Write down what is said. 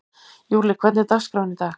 Júlli, hvernig er dagskráin í dag?